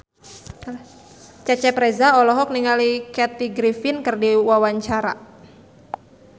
Cecep Reza olohok ningali Kathy Griffin keur diwawancara